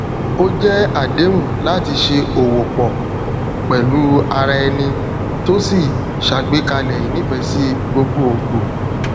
o jẹ àdéhùn láti se òwò pò pèlú araeni to sì ṣàgbékalẹ ìnífesi gbogbogbò